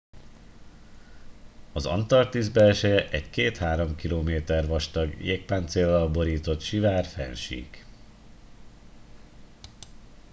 az antarktisz belseje egy 2-3 km vastag jégpáncéllal borított sivár fennsík